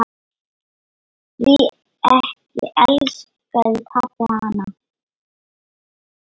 Því ekki elskaði pabbi hana.